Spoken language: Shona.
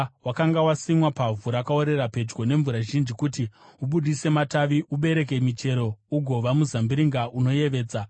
Wakanga wasimwa pavhu rakaorera pedyo nemvura zhinji kuti ubudise matavi, ubereke michero, ugova muzambiringa unoyevedza.’